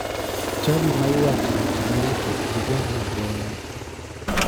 Chadi ma iwache weche maricho ji gore agoya.